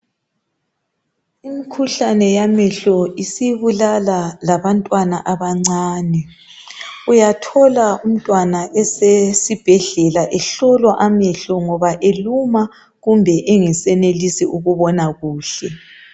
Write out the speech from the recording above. Imikhuhlane yamehlo isibulala labantwana abancane uyathola umntwana osesibhedlela ehlolwa amehlo ngoba eluma kumbe esengasenelisi ukubona kuhle .